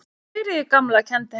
Sigríður gamla kenndi henni líka.